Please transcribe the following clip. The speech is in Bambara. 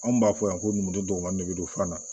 Anw b'a fɔ yan ko numudenw de bɛ don fura la